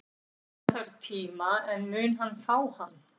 Hann þarf tíma, en mun hann fá hann?